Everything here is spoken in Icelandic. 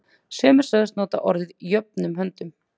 Sumir sögðust nota orðin jöfnum höndum.